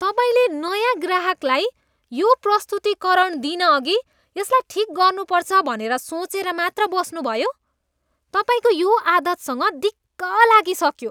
तपाईँले नयाँ ग्राहकलाई यो प्रस्तुतीकरण दिनअघि यसलाई ठिक गर्नुपर्छ भनेर सोचेर मात्र बस्नुभयो? तपाईँको यो आदतसँग दिक्क लागिसक्यो।